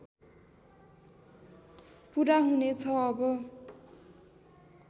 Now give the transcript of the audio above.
पुरा हुनेछ अब